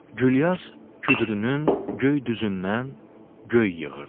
Gülyaz küdrünün göy düzündən göy yığırdı.